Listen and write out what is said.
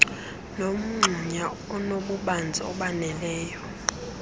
nomgxunya onobubanzi obaneleyo